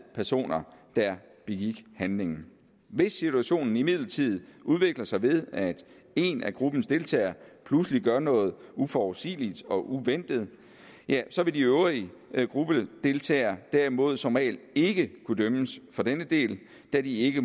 personer der begik handlingen hvis situationen imidlertid udvikler sig ved at en af gruppens deltagere pludselig gør noget uforudsigeligt og uventet så vil de øvrige gruppedeltagere derimod som regel ikke kunne dømmes for denne del da de ikke